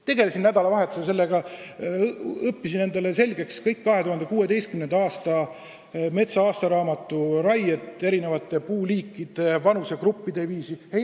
Tegelesin nädalavahetusel sellega, et tegin endale selgeks kõik aastaraamatus "Mets 2016" kajastatud raied eri puuliikide ja vanusegruppide kaupa.